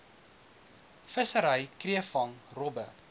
vissery kreefvang robbe